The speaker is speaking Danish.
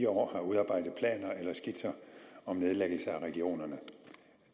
år har udarbejdet planer eller skitser om nedlæggelse af regionerne